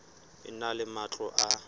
e na le matlo a